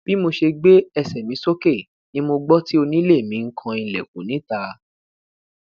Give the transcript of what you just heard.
bi mo ṣe gbe ẹsẹ mi soke ni mo gbọ ti onile mi n kan ilẹkun nita